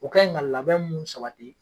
O ka in nka labɛn mun sabati